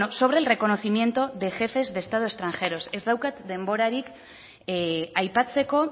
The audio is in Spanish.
sobre el reconocimiento de jefes de estado extranjeros ez daukat denborarik aipatzeko